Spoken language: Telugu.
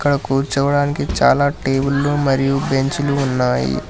అక్కడ కూర్చోవడానికి చాలా టేబుల్లు మరియు బెంచులు ఉన్నాయి.